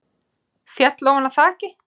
Féll ofan af þaki